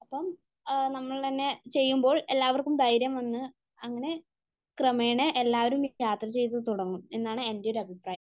അപ്പം നമ്മൾ തന്നെ ചെയ്യുമ്പോൾ എല്ലാവർക്കും ധൈര്യം വന്നു, അങ്ങനെ ക്രമേണ എല്ലാവരും യാത്ര ചെയ്തു തുടങ്ങും എന്നാണ് എൻ്റെ ഒരു അഭിപ്രായം